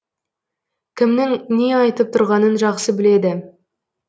кімнің не айтып тұрғанын жақсы біледі